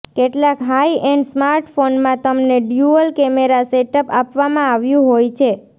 કેટલાક high end સ્માર્ટફોનમાં તમને ડ્યુઅલ કેમેરા સેટઅપ આપવામાં આવ્યું હોય છે